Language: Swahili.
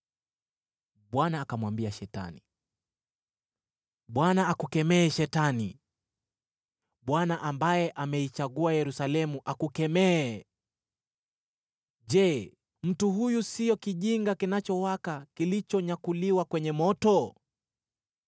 Bwana akamwambia Shetani, “ Bwana akukemee Shetani! Bwana , ambaye ameichagua Yerusalemu, akukemee! Je, mtu huyu siyo kijinga kinachowaka kilichonyakuliwa kwenye moto?”